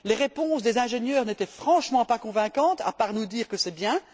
Les réponses des ingénieurs n'étaient franchement pas convaincantes, à part nous dire que c'est bien.